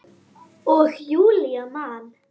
Og Júlía man.